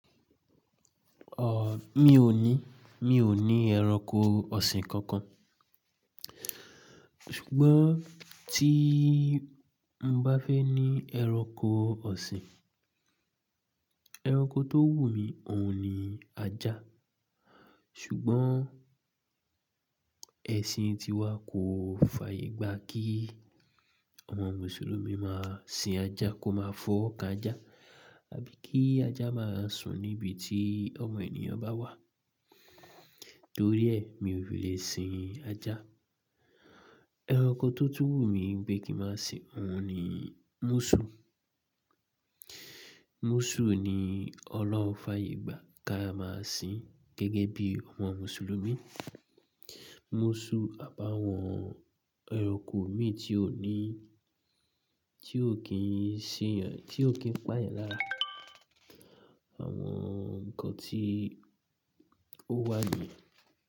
Ọ̀, mi ò ní, mi ò ní ẹranko ọ̀sìn kankan. Ṣùgbọ́n tí n bá fẹ́ ní ẹranko ọ̀sìn, ẹranko tó wù mí òun ni ajá. Ṣùgbọ́n ẹ̀sìn ti wá kò fàyègba kí ọmọ Mùsùlùmí máa sin ajá kó máa fọ́wo kan ajá àbí kí ajá máa sùn níbi tí ọmọ ènìyàn bá wà. Torí ẹ mi ò fi lè sin ajá. Ẹranko tó tún wù mi pe kí n máa sin òun ni mùsù. Mùsù ni Ọlọ́run fàyègba ká máa sin gẹ́gẹ́ bí ọmọ Mùsùlùmí. Mùsù àb'awọn ẹranko mi tí ò ní tí ò kí n pà yàn lára. Àwọn nǹkan tí ó wà ní.